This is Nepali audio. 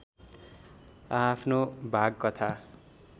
आआफ्नो भाग कथा